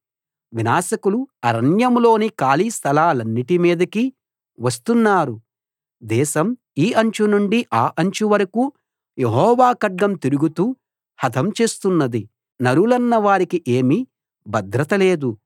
వినాశకులు అరణ్యంలోని ఖాళీ స్థలాలన్నిటి మీదకీ వస్తున్నారు దేశం ఈ అంచు నుండి ఆ అంచు వరకూ యెహోవా ఖడ్గం తిరుగుతూ హతం చేస్తున్నది నరులన్నవారికి ఏమీ భద్రత లేదు